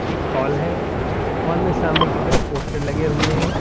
एक हाल है हाल में सामने की तरफ पोस्टर लगे हुए हैं।